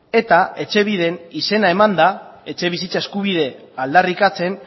eta etxebiden izena emanda etxebizitza eskubide aldarrikatzen